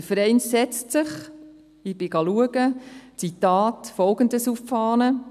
Dieser Verein schreibt sich, ich zitiere, folgendes auf die Fahne: